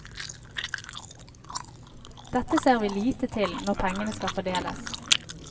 Dette ser vi lite til når pengene skal fordeles.